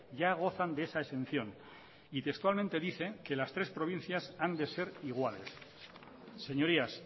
ya gozan de esa exención y textualmente dice que las tres provincias han de ser iguales señorías